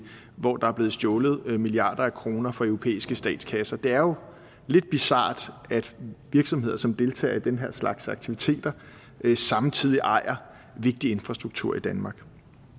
hvor der er blevet stjålet milliarder af kroner fra europæiske statskasser det er jo lidt bizart at virksomheder som deltager i den her slags aktiviteter samtidig ejer vigtig infrastruktur i danmark